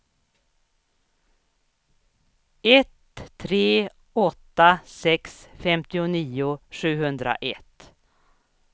ett tre åtta sex femtionio sjuhundraett